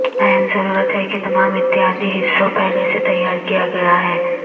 اہم ضرورت ہے کہ تمام اتحادی حصوں پہلے سے تیار کیا گیا ہے ہے